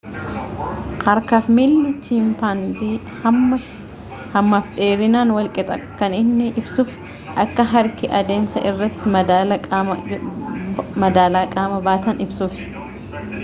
harka fi miilli chimpanzii hamma fi dheerinaan wal qixa kan inni ibsuus akka harki adeemsa irratti madaala qaama baatan ibsuuf